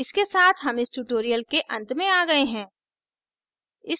इसके साथ हम इस tutorial के अंत में आ गए हैं